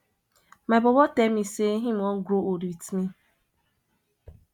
my bobo tell me sey im wan grow old wit me